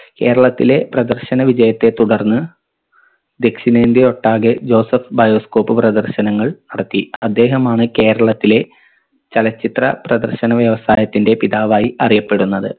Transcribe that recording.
കേരളത്തിലെ പ്രദർശന വിജയത്തെ തുടർന്ന് ദക്ഷിണേന്ത്യ ഒട്ടാകെ ജോസഫ് bioscope പ്രദർശനങ്ങൾ നടത്തി അദ്ദേഹമാണ് കേരളത്തിലെ ചലച്ചിത്ര പ്രദർശന വ്യവസായത്തിന്റെ പിതാവായി അറിയപ്പെടുന്നത്